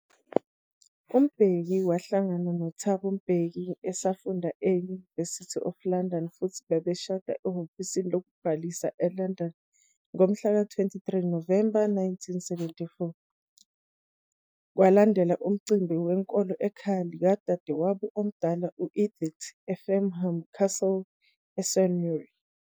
UMbeki wahlangana noThabo Mbeki esafunda e-University of London futhi babeshade ehhovisi lokubhalisa eLondon ngomhlaka 23 Novemba 1974, kwalandelwa umcimbi wenkolo ekhaya likadadewabo omdala u-Edith, eFarnham Castle eSurrey.